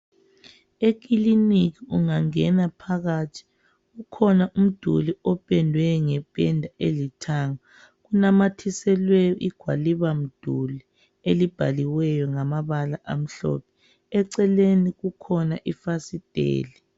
Ekiliniki ungangena phakathi kukhona umduli opendwe ngependa elithanga . Kunamathiselwe igwalibamduli elibhaliweyo ngamabala amhlophe . Eceleni kukhona ifasiteli.